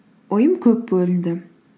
ойым көп бөлінді